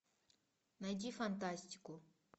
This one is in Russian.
найди фантастику